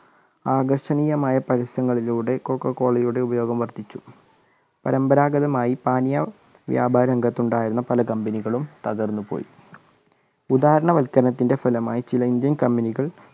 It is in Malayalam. ആകർഷണീയമായ പരസ്യങ്ങളിലൂടെ കൊക്കക്കോലയുടെ ഉപയോഗങ്ങൾ വർദ്ധിച്ചു പരമ്പരാഗതമായ പാനീയ വ്യാപാരി രംഗത്തുണ്ടായിരുന്ന പല company കളും തകർന്നുപോയി ഉദാരവത്ക്കരണത്തിന്റെ ഫലമായി ചില ഇന്ത്യൻ company കൾ